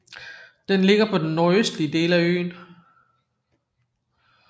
Den ligger på den nordøstlige del af øen